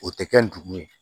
O tɛ kɛ ndugu ye